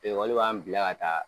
Ekɔli b'an bila ka taa